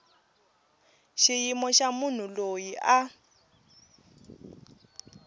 xiyimo xa munhu loyi a